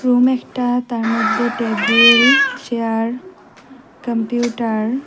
তার মধ্যে table chair computer --